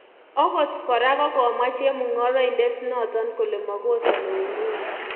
Okot kora kokomwa chemungaraindet noton kole makosani uinwek